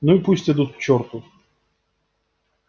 ну и пусть идут к чёрту